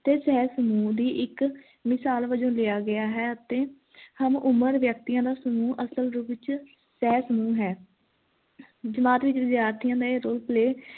ਤੇ ਸਹ ਸਮੂਹ ਦੀ ਇੱਕ ਮਿਸਾਲ ਵਜੋਂ ਲਿਆ ਗਿਆ ਹੈ ਤੇ ਹਮ ਉਮਰ ਵਿਅਕਤੀਆਂ ਦਾ ਸਮੂਹ ਅਸਲ ਰੂਪ ਵਿਚ ਸਹ ਸਮੂਹ ਹੈ ਜਮਾਤ ਵਿਚ ਵਿਦਿਆਰਥੀਆਂ ਦਾ ਇਹ role play